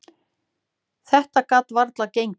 Þetta gat varla gengið.